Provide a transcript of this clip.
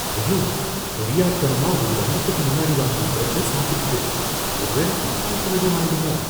ஐயோ! தெரியாத்தனமா ஒரு வாரத்துக்கு முன்னாடி வாங்குன பிரெட்ட சாப்பிட்டுட்டேன், ஒரு வேள ஃபுட் பாய்ஸன் எதுவும் ஆயிடுமோ!